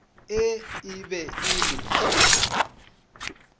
ee e be e le